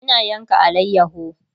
Ina yanka alayaho